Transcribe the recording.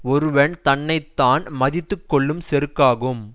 ஒருவன் தன்னை தான் மதித்துகொள்ளும் செருக்காகும்